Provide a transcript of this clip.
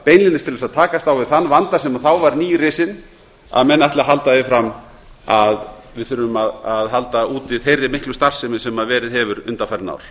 beinlínis til að takast á við þann vanda sem þá var nýrisinn að menn ætli að halda því fram að við þurfum að halda úti þeirri miklu starfsemi sem verið hefur undanfarin ár